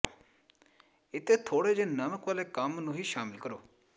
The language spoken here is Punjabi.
ਇੱਥੇ ਥੋੜ੍ਹੇ ਜਿਹੇ ਨਮਕ ਵਾਲੇ ਕ੍ਰਮ ਨੂੰ ਵੀ ਸ਼ਾਮਲ ਕਰੋ